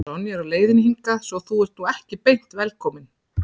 Sonja er á leiðinni hingað svo að þú ert nú ekki beint velkominn.